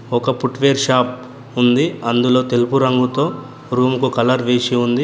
ఒక footwear shop ఉంది. అందులో తెలుపు రంగుతో రూముకు కలర్ వేసి ఉంది.